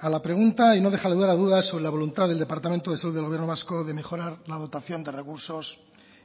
a la pregunta y no deja lugar a dudas sobre la voluntad el departamento de salud del gobierno vasco de mejorar la dotación de recursos